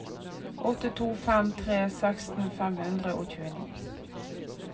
åtte to fem tre seksten fem hundre og tjueni